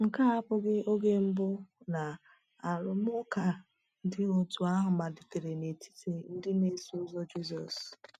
Nke a abụghị oge mbụ na arụmụka dị otú ahụ malitere n’etiti ndị na-eso Ụzọ Jizọs.